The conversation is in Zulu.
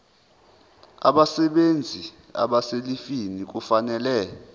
abasebenzi abaselivini kufanele